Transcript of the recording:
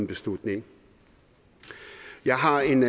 beslutninger jeg har en